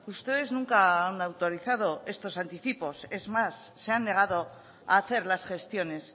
ustedes nunca han autorizado estos anticipos es más se han negado a hacer las gestiones